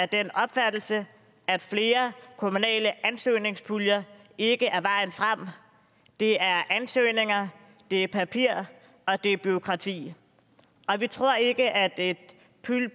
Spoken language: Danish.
den opfattelse at flere kommunale ansøgningspuljer ikke er vejen frem det er ansøgninger det er papir og det er bureaukrati og vi tror ikke at et